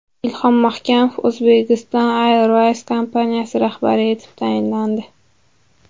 Ilhom Mahkamov Uzbekistan Airways kompaniyasi rahbari etib tayinlandi.